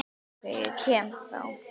OK, ég kem þá!